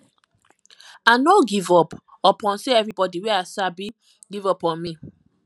i no give up upon sey everybodi wey i sabo give up on me